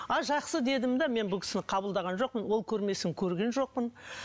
а жақсы дедім де мен бұл кісіні қабылдаған жоқпын ол көрмесін көрген жоқпын